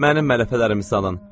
Mənim mələfələrimi salın.